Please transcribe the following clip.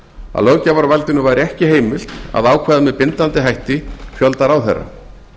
að löggjafarvaldinu væri ekki heimilt að ákveða með bindandi hætti fjölda ráðherra